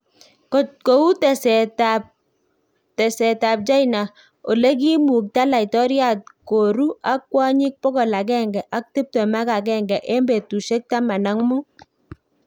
Kou teset ab tekset ab China olegimukta laitoriat koru ak kwanyik pokol agenge ak tiptem ak agenge en betusiek taman ak muut